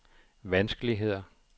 vanskeligheder